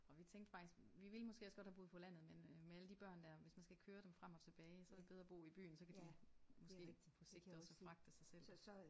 Og vi tænkte faktisk vi ville måske også godt have boet på landet men øh med alle de børn der hvis man skal køre dem frem og tilbage så er det bedre at bo i byen så kan de måske på sigt også fragte sig selv